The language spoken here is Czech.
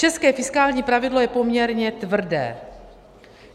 České fiskální pravidlo je poměrně tvrdé.